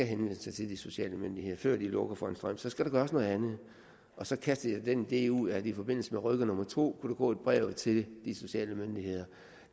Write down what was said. henvender sig til de sociale myndigheder før de lukker for strømmen så skal der gøres noget andet og så kastede jeg den idé ud at der i forbindelse med rykker nummer to kunne gå et brev til de sociale myndigheder